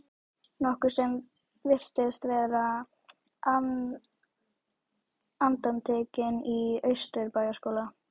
nokkuð sem virtist vera undantekning í Austurbæjarskóla.